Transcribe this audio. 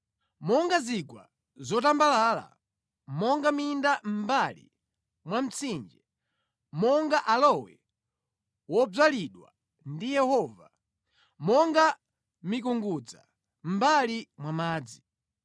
“Monga zigwa zotambalala, monga minda mʼmbali mwa mtsinje, monga aloe wodzalidwa ndi Yehova, monga mikungudza mʼmbali mwa madzi.